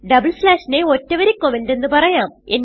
double സ്ലാഷിനെ ഒറ്റ വരി കമന്റ് എന്ന് പറയാം